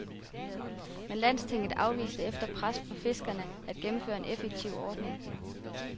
Men landstinget afviste efter pres fra fiskerne at gennemføre en effektiv ordning.